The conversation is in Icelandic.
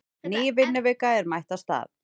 Ný vinnuvika er mætt af stað.